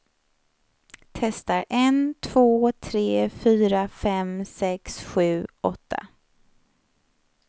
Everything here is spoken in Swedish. Testar en två tre fyra fem sex sju åtta.